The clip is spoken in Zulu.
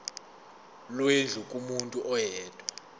lwendlu kumuntu oyedwa